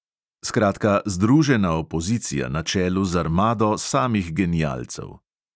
Skratka, združena opozicija na čelu z armado samih genialcev.